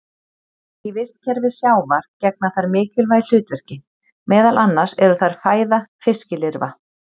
Í vistkerfi sjávar gegna þær mikilvægu hlutverki, meðal annars eru þær fæða fiskilirfa.